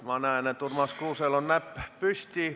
Ma näen, et Urmas Kruusel on näpp püsti.